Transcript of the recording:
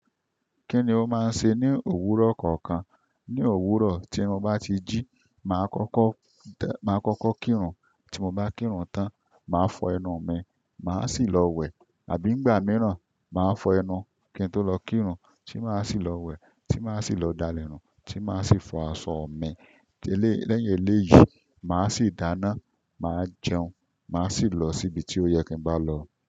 Kíni ó máa ń ṣe ní òwúrọ̀ kọ̀ọ̀kan? Ni òwúrọ̀ tí mo bá ti jí, màá kọ́kọ́ tẹ́, màá kọ́kọ́ kírun, tí mo bá kírun tán, màá fọ ẹnu mi, màá sì lọ wẹ̀. Àbí ìgbà mìíràn, màá fọ ẹnu, kí n tó lọ kírun, tí màá sì lọ wẹ̀, tí màá sì lọ dálẹ̀nù, tí màá sì fọ aṣọ mi. Lẹ́yìn eléyìí, màá sì dáná, màá jẹun, màá sì lọ síbi tí ó yẹ kí n bá lọ.